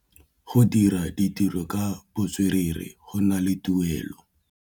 Go dira ditirô ka botswerere go na le tuelô.